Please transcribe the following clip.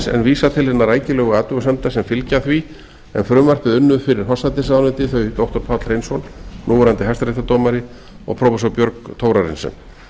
en vísa til hinna rækilegu athugasemda sem fylgja því en frumvarpið unnu fyrir forsætisráðuneytið þau doktor páll hreinsson núverandi hæstaréttardómari og prófessor björg thorarensen